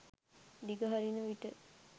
දිගහරින විට